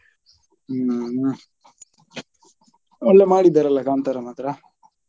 ಹ್ಮ್ ಒಳ್ಳೆ ಮಾಡಿದ್ದಾರಲ್ಲ ಕಾಂತಾರಾ ಮಾತ್ರ?